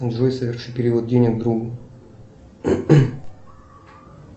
джой соверши перевод денег другу